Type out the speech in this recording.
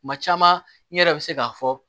Kuma caman n yɛrɛ bɛ se k'a fɔ